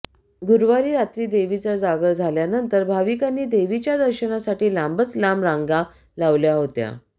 गुरुवारी रात्री देवीचा जागर झाल्यानंतर भाविकांनी देवीच्या दर्शनासाठी लांबच लांब रांगा लावल्या होत्या